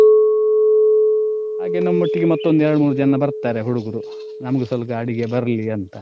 ಹಾಗೆ ನಮ್ಮೋಟ್ಟಿಗೆ ಮತ್ತೊಂದು ಎರಡ್ ಮೂರ್ ಜನ ಬರ್ತಾರೆ ಹುಡುಗ್ರು ನಮ್ಗು ಸ್ವಲ್ಪ ಅಡಿಗೆ ಬರ್ಲಿ ಅಂತ.